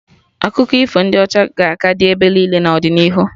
Akụkọ ifo ndị ọcha ga-aka dị ebe niile n'ọdịnihu